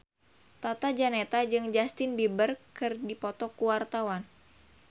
Tata Janeta jeung Justin Beiber keur dipoto ku wartawan